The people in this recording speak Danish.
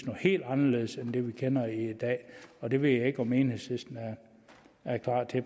er helt anderledes end det vi kender i dag og det ved jeg ikke om enhedslisten er parat til